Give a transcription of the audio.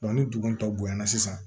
ni dugu tɔw bonya na sisan